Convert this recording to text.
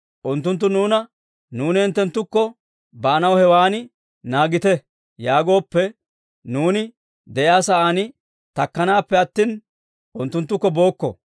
Unttunttu nuuna, ‹Nuuni hinttenttukko baanaw hewan naagite› yaagooppe, nuuni de'iyaa sa'aan takkanaappe attina, unttunttukko bookko.